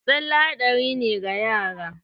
Tsale haɗari ne ga yara.